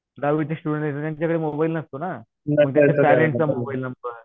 दहावीचे स्टुडन्ट आहेत त्यांच्याकडे मोबाईल नसतो ना. मग त्यांच्या पेरेंट्सचा मोबाईल नंबर